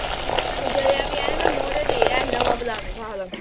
ਜਲਿਆ ਵੀ ਐਨ ਮੇਰੇ ਨਵਾਂ ਪਲਾਜੋ